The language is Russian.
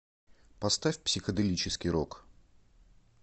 поставь психоделический рок